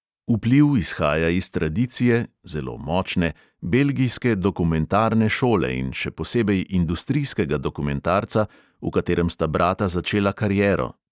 Vpliv izhaja iz tradicije (zelo močne) belgijske dokumentarne šole in še posebej industrijskega dokumentarca, v katerem sta brata začela kariero.